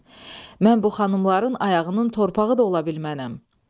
Mən bu xanımların ayağının torpağı da ola bilmənəm.